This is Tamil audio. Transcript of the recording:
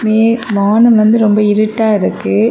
மே வானம் வந்து ரொம்ப இருட்டா இருக்கு.